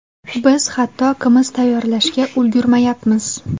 Biz hatto qimiz tayyorlashga ulgurmayapmiz.